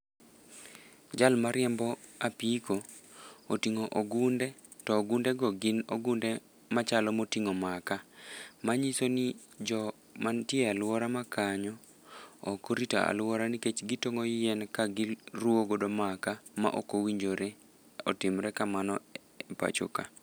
Jal ma riembo apiko, otingó ogunde, to ogundego gin ogunde machalo motingó makaa. Manyisoni, jo ma ntie alwora ma kanyo ok orito alwora, nikech gitongó yien, ka giruwogodo makaa, ma ok owinjore otimre kamano pachoka.